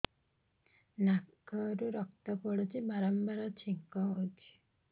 ନାକରୁ ରକ୍ତ ପଡୁଛି ବାରମ୍ବାର ଛିଙ୍କ ହଉଚି